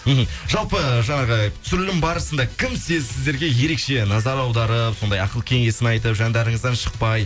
мхм жалпы жаңағы түсірілім барысында кім сіздерге ерекше назар аударып сондай ақыл кеңесін айтып жандарыңыздан шықпай